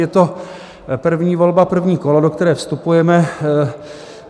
Je to první volba, první kolo, do které vstupujeme.